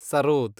sarod